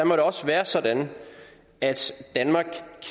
må også være sådan at danmark